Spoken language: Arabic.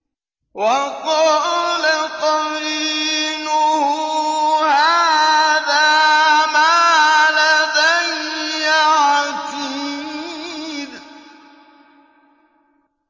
وَقَالَ قَرِينُهُ هَٰذَا مَا لَدَيَّ عَتِيدٌ